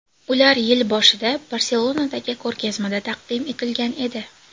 Ular yil boshida Barselonadagi ko‘rgazmada taqdim etilgan edi.